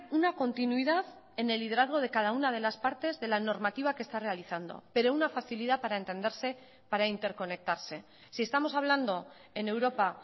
una continuidad en el liderazgo de cada una de las partes de la normativa que está realizando pero una facilidad para entenderse para interconectarse si estamos hablando en europa